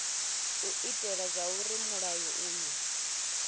u itela zwauri mulayo uyu